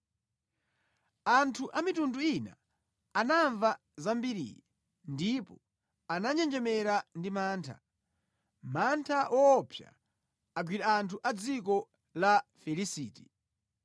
Anthu amitundu ina anamva za mbiriyi ndipo ananjenjemera ndi mantha, mantha woopsa agwira anthu a dziko la Filisiti.